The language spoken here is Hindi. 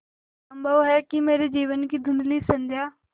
संभव है कि मेरे जीवन की धँुधली संध्या